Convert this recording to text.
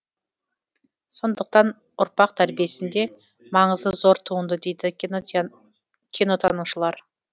сондықтан ұрпақ тәрбиесінде маңызы зор туынды дейді кинотанушылар